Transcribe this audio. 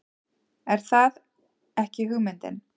Er það ekki hugmyndin?